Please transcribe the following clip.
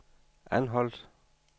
Anholt